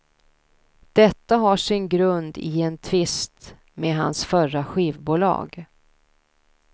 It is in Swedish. Detta har sin grund i en tvist med hans förra skivbolag.